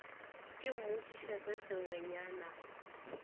ke mmotšiše se sengwenyana o